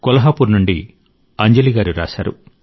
కొల్హాపూర్ నుండి అంజలి గారు రాశారు